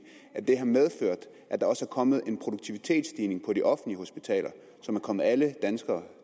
har medført at der også er kommet en produktivitetsstigning på de offentlige hospitaler som er kommet alle danskere